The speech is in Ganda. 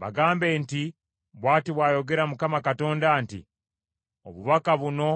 “Bagambe nti, ‘Bw’ati bw’ayogera Mukama Katonda nti, obubaka buno